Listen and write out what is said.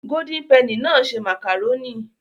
Golden penny náà ṣe màkàrónì